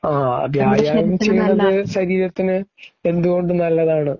ഓ... വ്യായാമം ചെയ്യുന്നത് ശരീരത്തിന് എന്തുകൊണ്ടും നല്ലതാണ് .